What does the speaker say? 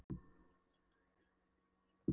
Mér létti hins vegar þegar ég leit í síðdegisblaðið.